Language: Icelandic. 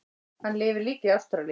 Hann lifir líka í Ástralíu.